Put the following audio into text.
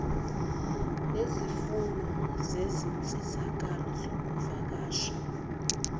nezimfuno zezinsizakalo zokuvakasha